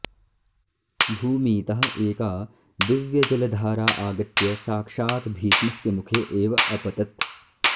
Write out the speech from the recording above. भूमीतः एका दिव्यजलधारा आगत्य साक्षात् भीष्मस्य मुखे एव अपतत्